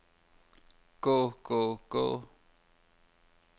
gå gå gå